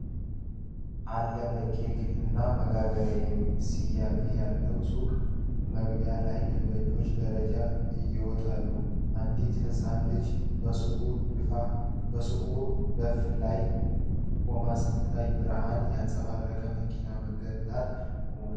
“አለበ ኬክ እና መጋገሪያ” የሚል ስያሜ ያለው ሱቅ መግቢያ ላይ ደንበኞች ደረጃዎቹን ይወጣሉ። አንዲት ህጻን ልጅ በሱቁ ደፍ ላይ ቆማ ስትታይ፣ ብርሃን ያንጸባረቀበት መኪና በመንገድ ዳር ቆሟል።